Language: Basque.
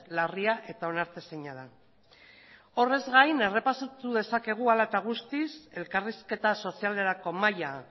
larria eta onartezina da horrez gain errepasatu dezakegu hala eta guztiz elkarrizketa sozialerako mahaia